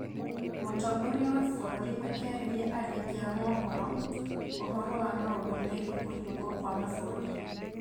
Mũtongoria wa bũrũri akĩarĩria andĩki a mohoro ũhoro wa maũndũ megiĩ kũhingwo kwa mabũrũri